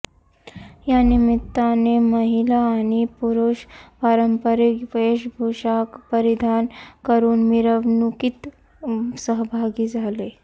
यानिमित्ताने महिला आणि पुरुष पारंपरिक वेशभूषा परिधान करुन मिरवणुकीत सहभागी झाले